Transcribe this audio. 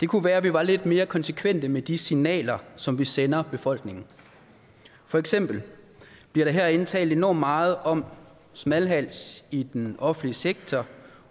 kunne være at vi var lidt mere konsekvente med de signaler som vi sender befolkningen for eksempel bliver der herinde talt enormt meget om smalhals i den offentlige sektor